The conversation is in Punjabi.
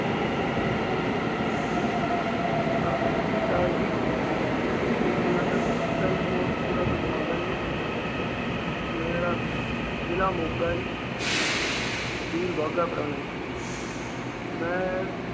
Sir ਸਤਿ ਸ਼੍ਰੀ ਅਕਾਲ ਜੀ, ਮੈ ਪਿੰਡ ਕੋਟਕਪੂਰਾ ਤੋਂ ਬੋਲਦਾ ਜੀ, ਮੇਰਾ ਜਿਲ੍ਹਾ ਮੋਗਾ ਜੀ, ਤਹਿਸੀਲ ਬਾਘਾਪੁਰਾਣਾ ਜੀ। ਮੈ